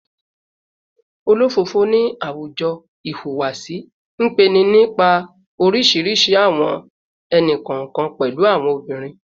Olofofo ni a awujo ihuwasi npe ni nipa orisirisi awọn ẹni-kọọkan, pẹlu awọn obirin